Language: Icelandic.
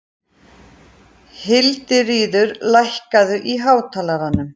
Hildiríður, lækkaðu í hátalaranum.